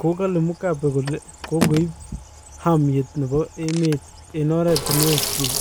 kokale mugabe kole kokoib ahamyet nebo emet eng oretinwek chik